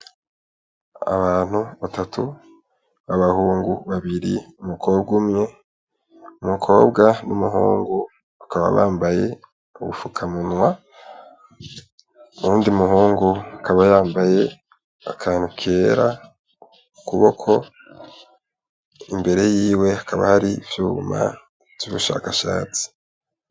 Abantu batatu, abahungu babiri n'umukobwa umwe, umukobwa n'umuhungu bakaba bambaye ubufukamunwa , uwundi muhungu akaba yambaye akantu kera ku kuboko, imbere yiwe hakaba hari ivyuma vy'ubushakashatsi.